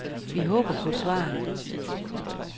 Vi håber på et svar.